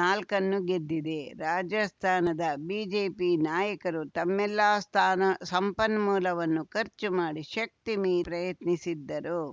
ನಾಲ್ಕನ್ನು ಗೆದ್ದಿದೆ ರಾಜಸ್ಥಾನದ ಬಿಜೆಪಿ ನಾಯಕರು ತಮ್ಮೆಲ್ಲಾ ಸ್ಥಾನ ಸಂಪನ್ಮೂಲವನ್ನು ಖರ್ಚು ಮಾಡಿ ಶಕ್ತಿ ಮೀರಿ ಪ್ರಯತ್ನಿಸಿದ್ದರು